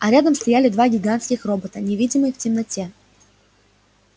а рядом стояли два гигантских робота невидимые в темноте